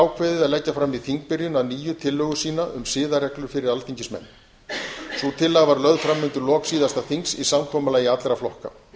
ákveðið að leggja fram í þingbyrjun að nýju tillögu sína um siðareglur fyrir alþingismenn sú tillaga var lögð fram undir lok síðasta þings í samkomulagi allra flokka